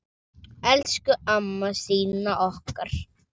Elsku amma Stína okkar.